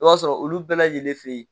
I b'a sɔrɔ olu bɛɛ lajɛlen fɛ yen.